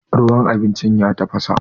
ruwan abincin ya tafasa